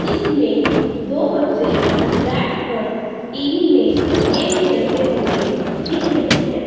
इसमें दो बच्चे बैठकर टी_वी में गेम खेलते हुए दिख रहे हैं।